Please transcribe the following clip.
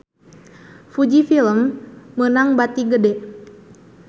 Fuji Film meunang bati gede